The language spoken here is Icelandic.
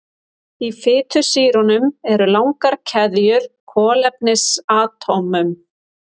Í fitusýrunum eru langar keðjur kolefnisatómum.